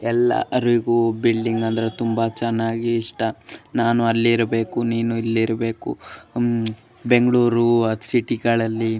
ಎಲ್ಲರಿಗೂ ಬಿಲ್ಡಿಂಗ್ ಅಂದ್ರೆ ತುಂಬಾ ಚೆನ್ನಾಗಿ ಇಷ್ಟ ನಾನು ಅಲ್ಲಿರಬೇಕು ನೀನು ಇಲ್ಲಿ ಇರಬೇಕು ಉಮ್ ಬೆಂಗಳೂರು ಸಿಟಿ ಗಳಲ್ಲಿ --